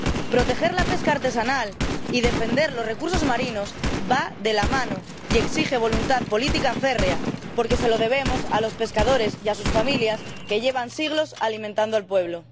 Proteger la pesca artesanal y defender los recursos marinos van de la mano y ello exige voluntad política férrea porque se lo debemos a los pescadores y a sus familias, que llevan siglos alimentando al pueblo.